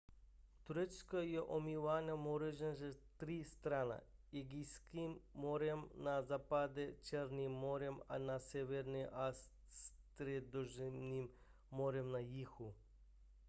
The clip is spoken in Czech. turecko je omýváno mořem ze tří stran egejským mořem na západě černým mořem na severu a středozemním mořem na jihu